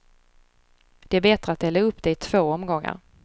Det är bättre att dela upp det i två omgångar.